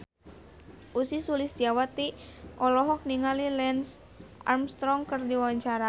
Ussy Sulistyawati olohok ningali Lance Armstrong keur diwawancara